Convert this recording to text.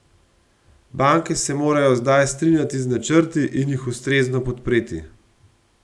Banke se morajo zdaj strinjati z načrti in jih ustrezno podpreti.